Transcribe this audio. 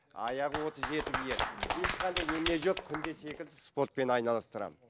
аяғы отыз жеті киеді ешқандай немене жоқ күнде секіртіп спортпен айналыстырамын